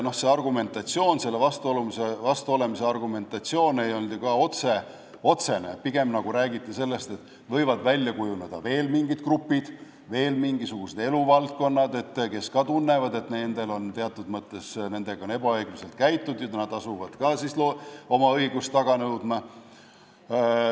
Vastuolemise argumentatsioon ei olnud ju ka otsene, pigem räägiti sellest, et võivad välja kujuneda veel mingid grupid mingisugustes eluvaldkondades, kes ka tunnevad, et nendega on teatud mõttes ebaõiglaselt käitutud, ja nad asuvad ka oma õigust taga nõudma.